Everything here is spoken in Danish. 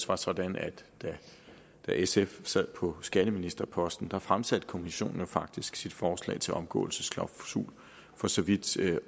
var sådan at da sf sad på skatteministerposten fremsatte kommissionen faktisk sit forslag til en omgåelsesklausul for så vidt